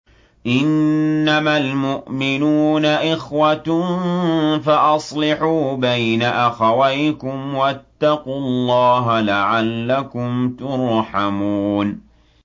إِنَّمَا الْمُؤْمِنُونَ إِخْوَةٌ فَأَصْلِحُوا بَيْنَ أَخَوَيْكُمْ ۚ وَاتَّقُوا اللَّهَ لَعَلَّكُمْ تُرْحَمُونَ